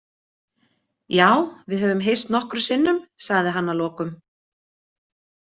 Já, við höfum hist nokkrum sinnum, sagði hann að lokum.